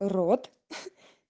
род